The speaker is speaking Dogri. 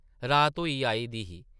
रात होई आई दी ही ।